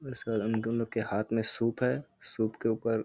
वैसे उन दोनों के के हाथ में सूप है। सूप के ऊपर --